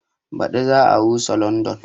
Baɗi za a rusa London